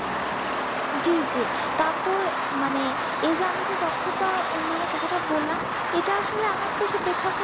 জি জি তারপর মানে এই যে আমি যে দক্ষতা উন্নয়ন এর কথা টা বললাম এটা আসলে আমাদের দেশের প্রেক্ষাপটে